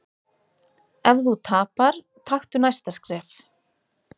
Ef þú tapar, taktu næsta skref.